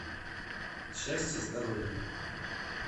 счастье здоровье